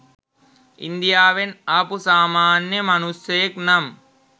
ඉන්දියාවෙන් ආපු සාමන්‍ය මනුස්සයෙක් නම්